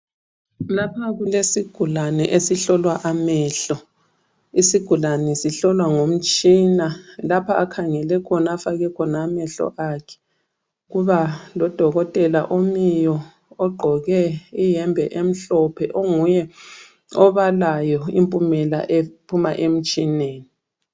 Lapha kulesigulane esihlolwa amehlo. Isigulane sihlolwa ngomtshina. Lapha akhangele khona afake khona amehlo akhe kuba lodokotela omiyo ogqoke iyembe emhlophe, onguye obalayo impumela ephuma emtshineni.